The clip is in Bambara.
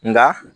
Nka